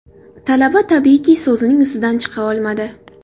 Talaba tabiiyki so‘zining ustidan chiqa olmadi.